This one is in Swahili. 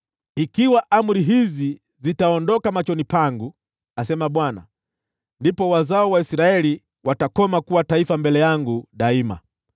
“Ikiwa amri hizi zitaondoka machoni pangu,” asema Bwana , “ndipo wazao wa Israeli watakoma kuwa taifa mbele yangu daima.”